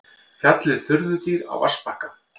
Fjallið furðudýr á vatnsbakka.